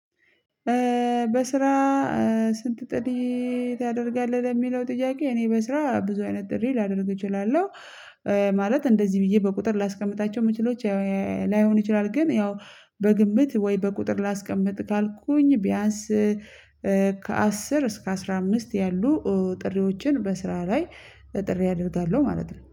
በስራ ስንት ጥሪ ታደርጋለህ? ለሚለው ጥያቄ እኔ በስራ ብዙ አይነት ጥሪ ላደርግ እችላለሁ ማለት እንደዚህ ብዬ በቁጥር ላስቀምጣቸው ምችለው ላይሆን ይችላል ግን ያው በግንምት ወይ በቁጥር ላስቀምጥ ካልኩኝ ቢያንስ ከአስር እስከ አስራ አምስት ያሉ ጥሪዎችን በስራ ላይ ጥሪ አደርጋለሁ ማለት ነው።